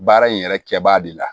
Baara in yɛrɛ kɛbaa de la